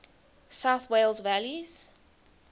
south wales valleys